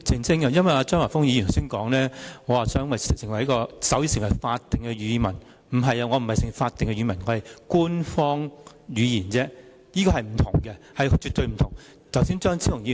張華峰議員剛才說我爭取手語成為法定語文，但我其實只是想手語成為官方語言，兩者是絕對不相同的。